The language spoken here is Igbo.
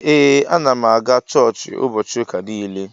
Ee anam aga chọọchi ubochi uka nile.